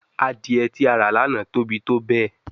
Adie ti a ra lana tobi tobẹẹ